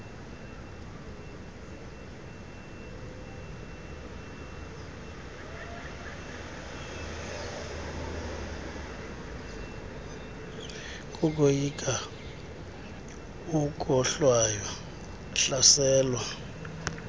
kokoyika ukohlwaywa hlaselwa